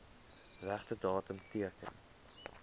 regte datum teken